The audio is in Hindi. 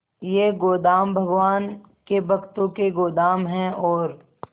ये गोदाम भगवान के भक्तों के गोदाम है और